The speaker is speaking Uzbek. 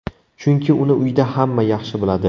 Chunki uni uyda hamma yaxshi biladi.